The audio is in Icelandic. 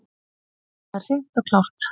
Það er hreint og klárt.